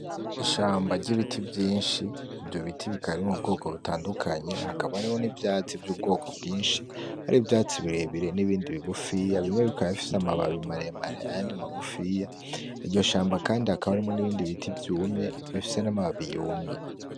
Ishamba ry'ibiti vyinshi ivyo biti bikari mubwoko butandukanye hakaba ariho n'ivyatsi vy'ubwoko bwinshi hari vyatsi birebire n'ibindi bigufiya bimwe bikababfise amababi imaremare andi magufiya iryo shamba, kandi hakaba arimwo n'ibindi biti vyumye bifise n'amababi yumye.